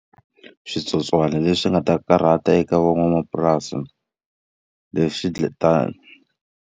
Switsotswana leswi nga ta karhata eka van'wamapurasi lexi .